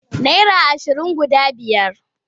Naira ashirin guda biyar.